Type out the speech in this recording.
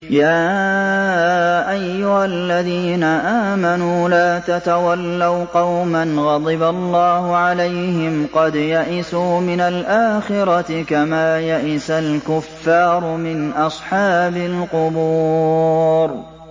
يَا أَيُّهَا الَّذِينَ آمَنُوا لَا تَتَوَلَّوْا قَوْمًا غَضِبَ اللَّهُ عَلَيْهِمْ قَدْ يَئِسُوا مِنَ الْآخِرَةِ كَمَا يَئِسَ الْكُفَّارُ مِنْ أَصْحَابِ الْقُبُورِ